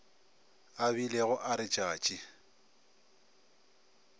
a bilego a re tšatši